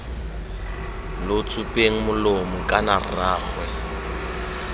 lo tsupeng molomo kana rraagwe